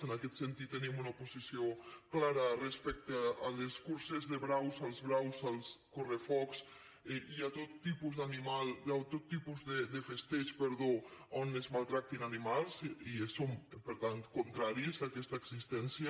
en aquest sentit tenim una posició clara respecte a les curses de braus als braus als correbous i a tot tipus de festeig en què es maltractin animals i som per tant contraris a aquesta existència